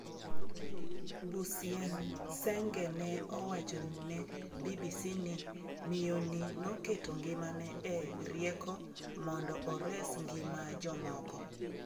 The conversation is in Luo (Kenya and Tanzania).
Bucyensenge ne owacho ne BBC ni ""Miyo ni noketo ngimane e rieko mondo ores ngima jomoko."